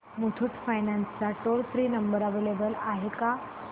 Muthoot finance चा toll free number available आहे का